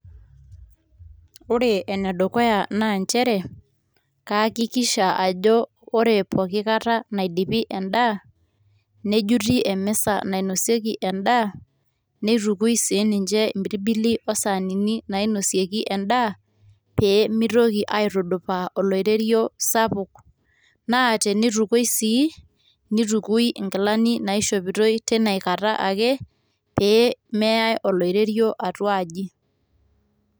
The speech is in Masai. ore ene dukuya naa nchere kayakikisha ajo ore pooki kata naidipi edaa, nejuti emisa nainosieki edaa neitukui sii ninche, impirbili osaanini nainosieki edaa, pee meitoki aitudupaa oloiterio sapuk, naa teneitukui sii, neitukui sii inkilani naishopitoi pee meyae oloiterio atua aji.